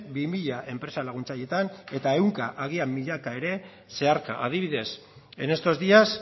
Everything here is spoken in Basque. bi mila enpresa laguntzaileetan eta ehunka agian milaka ere zeharka adibidez en estos días